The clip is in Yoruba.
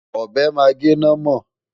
Ọ̀bẹ máa gé námọ̀.